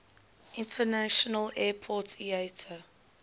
international airport iata